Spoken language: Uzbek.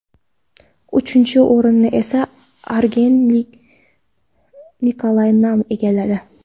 Uchinchi o‘rinni esa angrenlik Nikolay Nam egalladi.